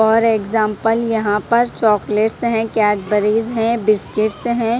और एक्जांपल यहां पर चॉकलेट्स हैं कैडबरीज हैं बिस्किट्स हैं।